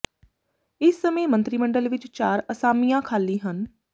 ਇਸ ਸਮੇਂ ਮੰਤਰੀ ਮੰਡਲ ਵਿੱਚ ਚਾਰ ਅਸਾਮੀਆਂ ਖਾਲੀ ਹਨ